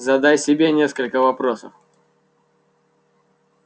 задай себе несколько вопросов